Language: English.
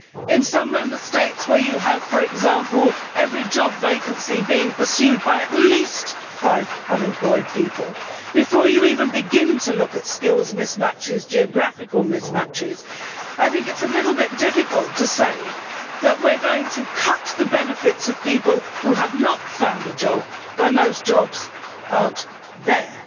In some Member States where, for example, every job vacancy is being pursued by at least five unemployed people before you even begin to look at skills mismatches and geographical mismatches I think it is a little bit difficult to say that we are going to cut the benefits of people who have not found a job when those jobs are not there.